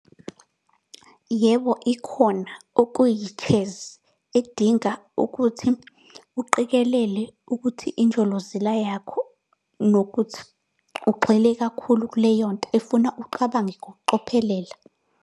Yebo ikhona, okuyi-chess, edinga ukuthi uqikelele ukuthi injolozela yakho, nokuthi ugxile kakhulu kuleyo nto efuna uqabange ngokucophelela.